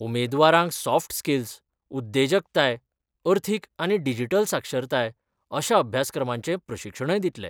उमेदवारांक soft skill, उद्देजकताय, अर्थीक आनी डिजिटल साक्षरताय अशा अभ्यासक्रमांचे प्रशिक्षणय दितले.